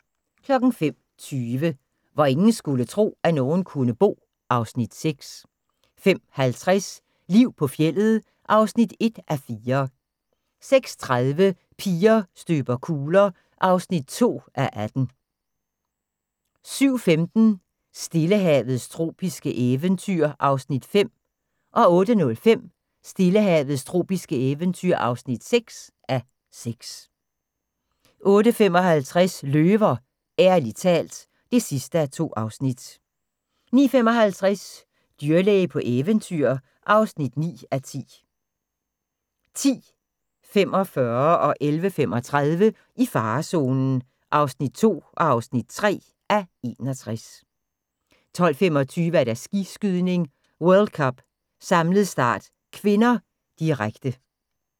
05:20: Hvor ingen skulle tro, at nogen kunne bo (Afs. 6) 05:50: Liv på fjeldet (1:4) 06:30: Piger støber kugler (2:18) 07:15: Stillehavets tropiske eventyr (5:6) 08:05: Stillehavets tropiske eventyr (6:6) 08:55: Løver – ærligt talt (2:2) 09:55: Dyrlæge på eventyr (9:10) 10:45: I farezonen (2:61) 11:35: I farezonen (3:61) 12:25: Skiskydning: World Cup - samlet start (k), direkte